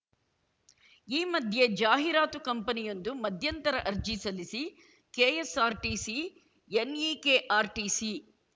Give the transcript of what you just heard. ಈ ಮಧ್ಯೆ ಜಾಹೀರಾತು ಕಂಪನಿಯೊಂದು ಮಧ್ಯಂತರ ಅರ್ಜಿ ಸಲ್ಲಿಸಿ ಕೆಎಸ್‌ಆರ್‌ಟಿಸಿ ಎನ್‌ಈಕೆಆರ್‌ಟಿಸಿ